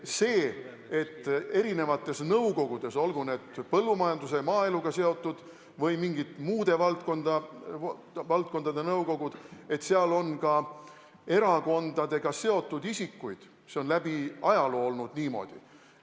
See, et eri nõukogudes, olgu need seotud põllumajanduse ja maaeluga või mingite muude valdkondadega, on ka erakondadega seotud isikuid, on läbi ajaloo niimoodi olnud.